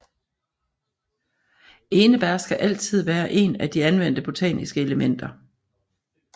Enebær skal altid være en af de anvendte botaniske elementer